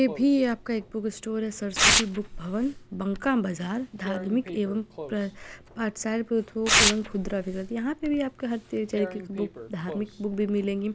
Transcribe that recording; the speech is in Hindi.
ये भी ये आपका एक बुक स्टोर है सरस्वती बुक भवन बंका बाजार धार्मिक एवम प्र पाठय पुस्तकों एवम खुदरा विक्रेता यहाँ पे भी आपको हर तिने चार तरीके के बुक धार्मिक बुक भी मिलेंगे।